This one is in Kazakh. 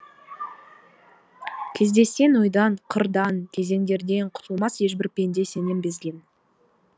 кездессең ойдан қырдан кезеңдерден құтылмас ешбір пенде сенен безген